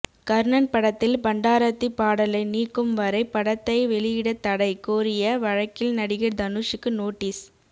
கர்ணன் படத்தில் பண்டாரத்தி பாடலை நீக்கும் வரை படத்தை வெளியிடத் தடை கோரிய வழக்கில் நடிகர் தனுஷூக்கு நோட்டீஸ்